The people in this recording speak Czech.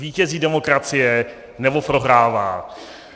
Vítězí demokracie, nebo prohrává?